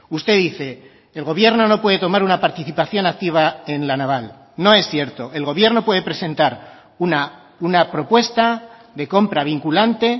usted dice el gobierno no puede tomar una participación activa en la naval no es cierto el gobierno puede presentar una propuesta de compra vinculante